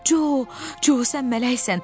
Co, Co, sən mələksən.